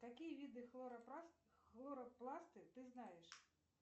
какие виды хлоропласты ты знаешь